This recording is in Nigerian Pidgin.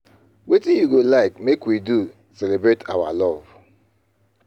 Wetin you go like make we do celebrate our love.